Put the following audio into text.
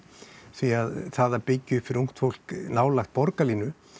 því að það að byggja upp fyrir ungt fólk nálægt borgarlínu